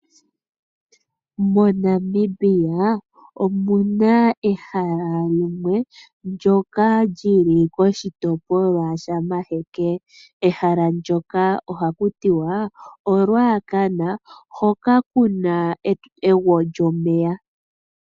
MoNamibia omu na ehala limwe ndyoka lyili koshitopolwa shamaheke , ehala ndyoka oha ku tiwa oRuacana hoka ku na egwo lyomeya.